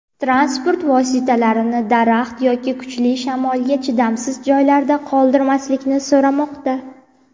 transport vositalarini daraxt yoki kuchli shamolga chidamsiz joylarda qoldirmasliklarini so‘ramoqda.